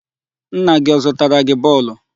Nna gị ọ zụtara gị bọọlụ?